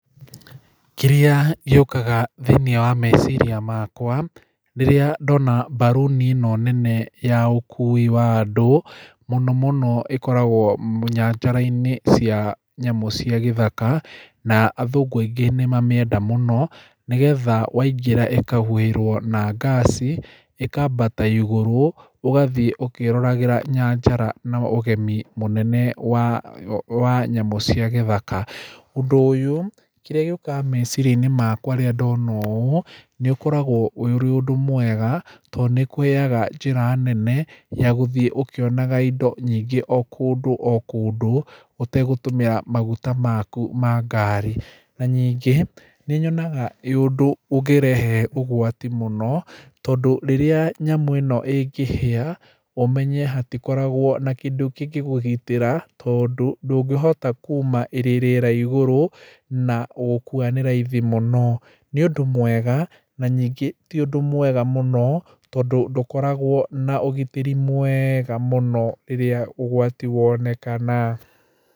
Kĩrĩa gĩũkaga thĩinĩ wa meciria makwa rĩrĩa ndona mbaruni ĩno nene ya ũkui wa andũ mũno mũno ĩkoragwo nyanjara-inĩ cia nyamũ cia gĩthaka. Na athungũ aingĩ ni mamĩenda mũno nĩ getha waingĩra na ĩkahuhĩrwo na ngaci ĩkambata igũrũ ũgathii ũkĩroragĩra nyanjara na ũgemu mũnene wa nyamũ cia gíĩthaka. Ũndũ ũyũ kĩrĩa gĩũkaga meciria-inĩ makwa rĩrĩa ndona ũũ ũkoragwo ũrĩ ũndũ mwega tondũ nĩ ũkũheaga njĩra nene ya gũthiĩ ũkĩonaga indo nyingĩ o kũndũ o kũndũ ũtegũtũmĩra maguta maku ma ngari. Na ningĩ nĩ nyonaga wĩ ũndũ ũngĩrehe ũgwati mũno tondũ rĩrĩa nyamũ ĩno ĩngĩhĩa ũmenye hatikoragwo na kĩndũ kĩngĩ kũgitĩra tondũ ndũngĩhota kuma ĩrĩ rĩera igũrũ na gũkua nĩ raithi mũno. Nĩ ũnjdũ mwega na nyingĩ ti ũndũ mwega mũno tondũ ndũkoragwo na ũgitĩri mwega mũno rĩrĩa ũgwati wonekana.